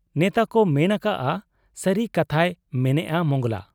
ᱱᱮᱛᱟᱠᱚ ᱢᱮᱱ ᱟᱠᱟᱜ ᱟ ᱥᱟᱹᱨᱤ ᱠᱟᱛᱷᱟᱭ ᱢᱮᱱᱮᱜ ᱟ ᱢᱚᱸᱜᱽᱞᱟ ᱾